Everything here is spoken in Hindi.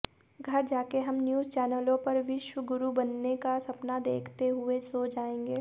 घर जाकर हम न्यूज़ चैनलों पर विश्व गुरु बनने का सपना देखते हुए सो जाएंगे